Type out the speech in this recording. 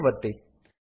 save ಒತ್ತಿ